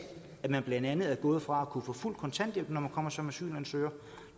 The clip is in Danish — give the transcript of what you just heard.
at man blandt andet er gået fra at kunne få fuld kontanthjælp når man kommer som asylansøger